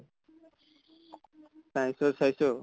science তো চাইছো